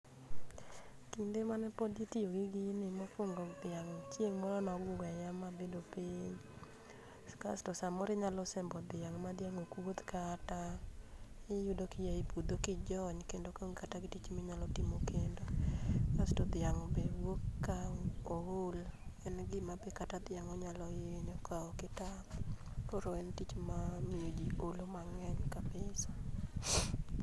Kinde mane pod itiyo gi gini mokwongo dhiang' chieng' moro nogweya mabedo piny. Kasto samoro inyalo sembo dhiang' ma dhiang' ok wuoth kata. Iyud kiya e puodho kijony kendo kaonge kata gi tich minyalo timo kendo. kasto dhiang' be wuok ka ool en gima kata dhiang' be onyalo hinyo ka ok itang'. Koro en tich mamiyo ji olo mang'eny kabisa.